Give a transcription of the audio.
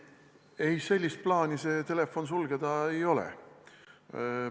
Ei, sellist plaani, et see telefon sulgeda, ei ole.